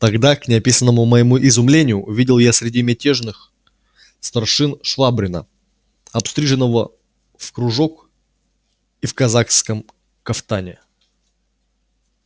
тогда к неописанному моему изумлению увидел я среди мятежных старшин швабрина обстриженного в кружок и в казацком кафтане